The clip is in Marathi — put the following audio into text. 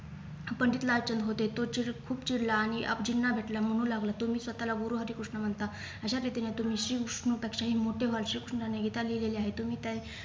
पंडित लाल चांद होते तो चिल खूप चिडला आणि आपजिना भेटला म्हणू लागला तुम्ही स्वतःला गुरुहरीकृष्ण म्हणतात अशा रीतीने तुम्ही शिव पेक्षाही मोठे कृष्णाने गीता लिहिलेली आहे तुम्ही त्या